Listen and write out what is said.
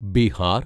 Bihar